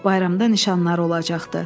Bayramda nişanları olacaqdı.